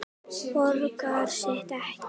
Borgar sig ekki?